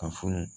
Ka funu